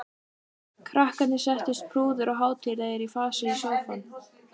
Krakkarnir settust prúðir og hátíðlegir í fasi í sófann.